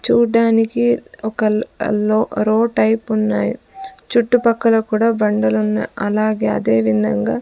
చూడ్డానికి ఒక ల్ లో రో టైప్ ఉన్నాయ్ చుట్టుపక్కల కూడా బండలున్నాయ్ అలాగే అదే విందంగా --